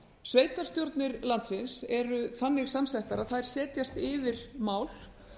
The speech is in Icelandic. sveitarstjórnir landsins eru þannig samsettar að þær setjast yfir mál